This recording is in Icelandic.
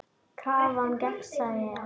Krafan gegnsæ er.